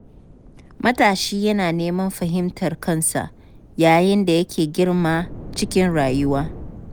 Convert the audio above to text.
Matashi yana neman fahimtar kansa yayin da yake girma cikin rayuwa.